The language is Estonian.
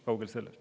Kaugel sellest.